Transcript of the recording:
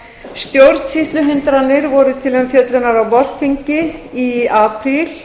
stjórnsýsluhindranir voru til umfjöllunar á vorþingi í apríl